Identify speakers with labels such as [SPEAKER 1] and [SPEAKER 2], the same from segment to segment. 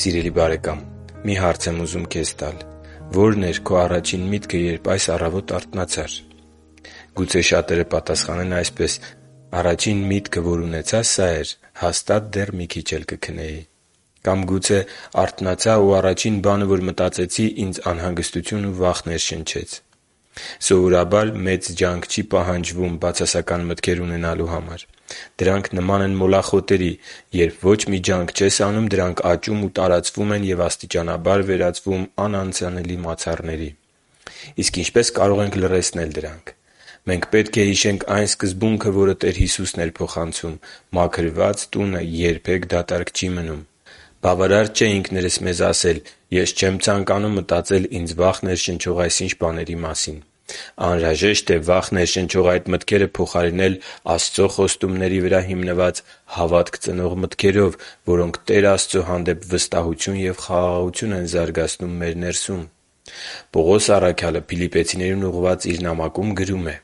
[SPEAKER 1] Սիրելի՛ բարեկամ, մի հարց եմ ուզում քեզ տալ՝ ո՞րն էր քո առաջին միտքը, երբ այս առավոտ արթնացար։ Գուցե շատերը պատասխանեն այսպես․ «Առաջին միտքը, որ ունեցա սա էր. հաստատ դեռ մի քիչ էլ կքնեի»։ Կամ գուցե․ «Արթնացա ու առաջին բանը, որ մտածեցի ինձ անհանգստություն ու վախ ներշնչեց»։ Սովորաբար, մեծ ջանք չի պահանջվում բացասական մտքեր ունենալու համար։ Դրանք նման են մոլախոտերի։ Երբ ոչ մի ջանք չես անում, դրանք աճում ու տարածվում են և աստիճանաբար վերածվում անանցանելի մացառների։ Իսկ ինչպե՞ս կարող ենք լռեցնել դրանք։ Մենք պետք է հիշենք այն սկզբունքը, որը Տեր Հիսուսն էր փոխանցում․ «Մաքրված տունը երբե՛ք դատարկ չի մնում»։ Բավարար չէ ինքներս մեզ ասել. «Ես չեմ ցանկանում մտածել ինձ վախ ներշնչող այսինչ բաների մասին»։ Անհրաժեշտ է վախ ներշնչող այդ մտքերը փոխարինել Աստծո խոստումների վրա հիմնված հավատք ծնող մտքերով, որոնք Տեր Աստծո հանդեպ վստահություն և խաղաղություն են զարգացնում մեր ներսում։ Պողոս առաքյալը Փիլիպպեցիներին ուղղված իր նամակում գրում է.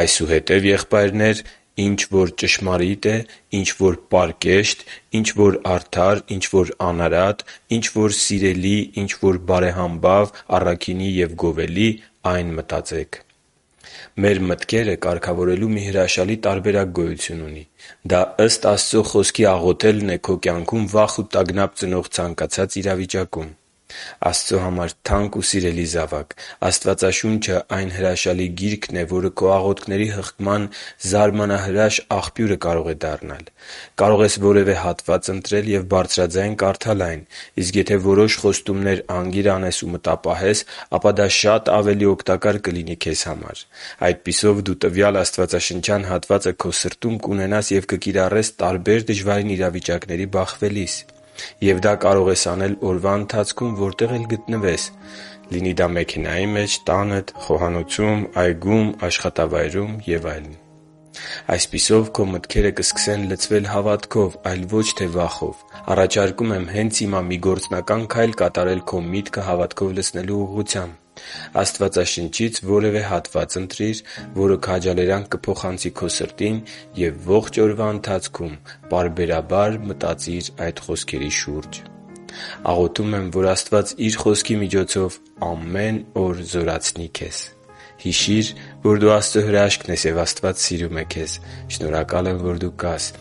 [SPEAKER 1] «Այսուհետև, եղբայրնե՛ր, ինչ որ ճշմարիտ է, ինչ որ պարկեշտ, ինչ որ արդար, ինչ որ անարատ, ինչ որ սիրելի, ինչ որ բարեհամբավ, առաքինի և գովելի, ա՛յն մտածեք» (Փիլիպպեցիս 4.8)։ Մեր մտքերը կարգավորելու մի հրաշալի տարբերակ գոյություն ունի։ Դա ըստ Աստծո Խոսքի աղոթելն է քո կյանքում վախ ու տագնապ ծնող ցանկացած իրավիճակում։ Աստծո համար թանկ ու սիրելի՛ զավակ, Աստվածաշունչը այն հրաշալի Գիրքն է, որը քո աղոթքների հղկման զարմանահրաշ աղբյուրը կարող է դառնալ։ Կարող ես որևէ հատված ընտրել և բարձրաձայն կարդալ այն։ Իսկ եթե որոշ խոստումներ անգիր անես ու մտապահես, ապա դա շատ ավելի օգտակար կլինի քեզ համար։ Այդպիսով, դու տվյալ աստվածաշնչյան հատվածը քո սրտում կունենաս և կկիրառես տարբեր դժվարին իրավիճակների բախվելիս։ Եվ դա կարող ես անել ողջ օրվա ընթացքում, որտեղ էլ գտնվես՝ լինի դա մեքենայի մեջ, տանդ, խոհանոցում, այգում, աշխատավայրում և այլն։ Այսպիսով, քո մտքերը կսկսեն լցվել հավատքով, այլ ոչ թե վախով։ Առաջարկում եմ հենց հիմա մի գործնական քայլ կատարել քո միտքը հավատքով լցնելու ուղղությամբ։ Աստվածաշնչից որևէ հատված ընտրիր, որը քաջալերանք կփոխանցի քո սրտին և ողջ օրվա ընթացքում պարբերաբար մտածիր այդ խոսքերի շուրջ։ Կարող ես նաև ընտրել ստորև բերված ցանկից․ Աղոթում եմ, որ Աստված Իր Խոսքի միջոցով ամեն օր զորացնի՛ քեզ։ Հիշի՛ր, որ դու Աստծո հրաշքն ես, և Աստված սիրում է քեզ։ Շնորհակալ եմ, որ դու կա՛ս